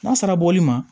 N'a sera bɔli ma